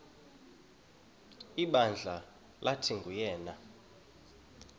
ibandla lathi nguyena